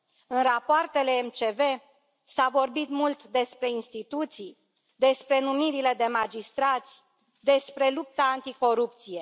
În rapoartele MCV s a vorbit mult despre instituții, despre numirile de magistrați, despre lupta anticorupție.